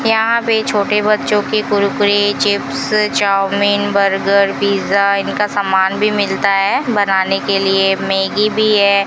यहां पे छोटे बच्चों की Kurkure chips chow mein burger pizza इनका सामान भी मिलता है बनाने के लिए मैगी भी है।